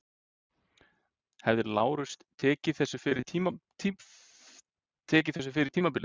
Hefði Lárus tekið þessu fyrir tímabilið?